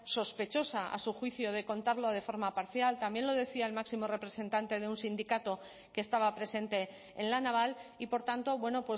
sospechosa a su juicio de contarlo de forma parcial también lo decía el máximo representante de un sindicato que estaba presente en la naval y por tanto bueno